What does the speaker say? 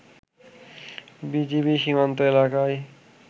BGB সীমান্ত এলাকায়